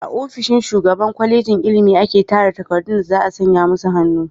A ofishin shugaban kwalejin ilimi ake tara takardun da za a sanya musu hannu.